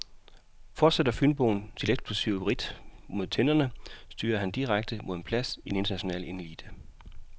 Fortsætter fynboen sit eksplosive ridt mod tinderne, styrer han direkte mod en plads i den internationale elite.